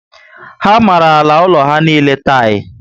Ha mara àlà úlọ ha niile tiyi